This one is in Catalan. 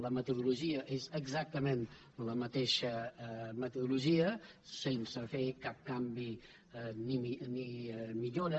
la metodologia és exactament la mateixa metodologia sense fer cap canvi ni millora